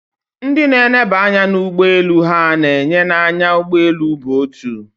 Ndị na eneba anya na ie ụgbọeelu ha na enye na anya ụgbọeelu bụ otu